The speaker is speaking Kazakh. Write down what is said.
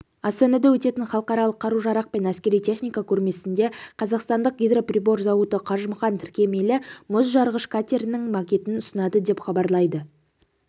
астанада өтетін халықаралық қару-жарақ пен әскери техника көрмесінде қазақстандық гидроприбор зауыты қажымұқан тіркемелі-мұз жарғыш катерінің макетін ұсынады деп хабарлайды